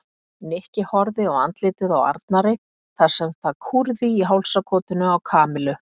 Nikki horfði á andlitið á Arnari þar sem það kúrði í hálsakotinu á Kamillu.